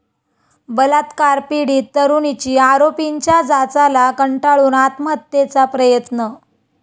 बलात्कार पीडित तरुणीची आरोपींच्या जाचाला कंटाळून आत्महत्येचा प्रयत्न